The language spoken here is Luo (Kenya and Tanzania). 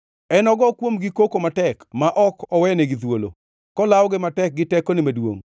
Enogo kuomgi koko matek ma ok oweyonigi thuolo, kolawogi matek gi tekone maduongʼ.